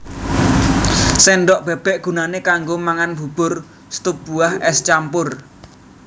Sendhok bébék gunané kanggo mangan bubur stup buah ès campur